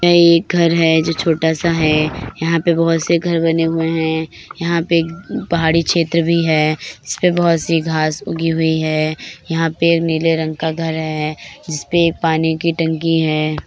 यह एक घर है जो छोटा सा है यहां पे बहुत से घर बन हुए है यहां पे पहाड़ी क्षेत्र भी है इसपे बहुत सी घास उगी हुई है यहां पे नीले रंग का घर है जिसपे पानी की टंकी है।